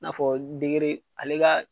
I n'a fɔ ale ka